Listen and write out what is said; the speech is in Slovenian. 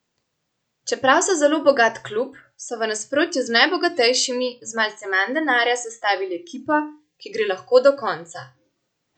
Čeprav so zelo bogat klub, so, v nasprotju z najbogatejšimi, z malce manj denarja sestavili ekipo, ki gre lahko do konca.